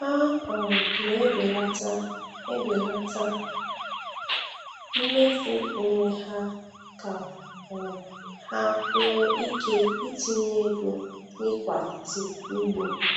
Ha um na e belata e belata mmefu onwe ha, ka um ha nwee ike itinye ego n’ịkwalite ugbo.